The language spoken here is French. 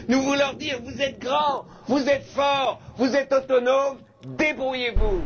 nous devons leur dire Vous êtes grands, vous êtes forts, vous êtes autonomes, débrouillez vous!